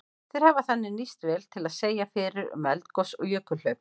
Þeir hafa þannig nýst vel til að segja fyrir um eldgos og jökulhlaup.